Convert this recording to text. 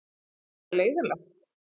Eða leiðinlegt?